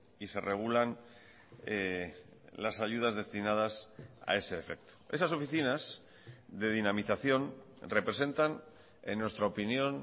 y se regulan las ayudas destinadas a ese efecto esas oficinas de dinamización representan en nuestra opinión